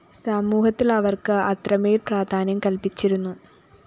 സമൂഹത്തില്‍ അവര്‍ക്ക് അത്രമേല്‍ പ്രാധാന്യം കല്‍പ്പിച്ചിരുന്നു